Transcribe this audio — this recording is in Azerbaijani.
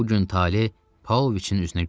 Bu gün taley Paoviçin üzünə gülür.